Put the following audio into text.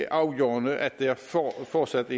afgørende at der fortsat